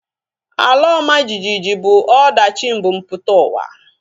Ala ọma jijiji bụ ọdachi mbumputauwa